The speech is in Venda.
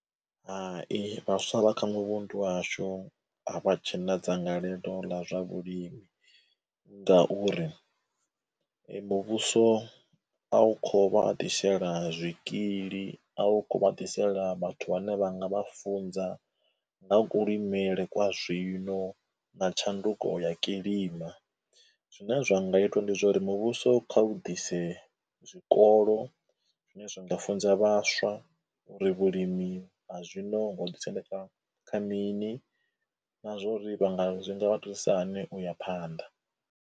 Hai, vhaswa vha kha muvhundu wa hashu a vha tshe na dzangalelo ḽa zwa vhulimi ngauri muvhuso a u kho u vha a ḓisela zwikili, a u kho u vha ḓisela vhathu vhane vha nga vha funza nga kulimele kwa zwino na tshanduko ya kilima. Zwine zwa nga itwa ndi zwauri muvhuso kha u ḓise zwikolo zwine zwi nga funza vhaswa uri vhulimi ha zwino vho ḓi sendeka kha mini na zwa uri vha nga zwi nga vha thusisa hani u ya phanḓa.